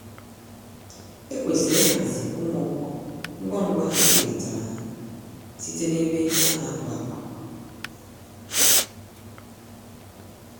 Ekwesịrị ihazi ụmụ ọkụkọ ngwá ngwá ebulatara ha site n'ebe ana abụ-àkwà.